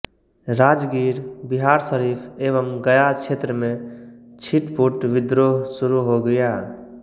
राजगीर बिहार शरीफ एवं गया क्षेत्र में छिटपुट विद्रोह शुरू हो गया